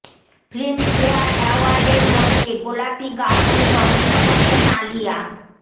film fair অ্যাওয়ার্ডের মঞ্চে গোলাপি গাউনে রঙ ছড়াচ্ছেন আলিয়া